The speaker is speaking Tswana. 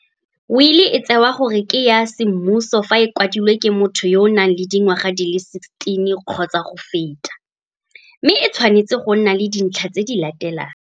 Wili e tsewa gore ke ya semmuso fa e kwadilwe ke motho yo a nang le dingwaga di le 16 kgotsa go feta, mme e tshwanetse go nna le dintlha tse di latelang.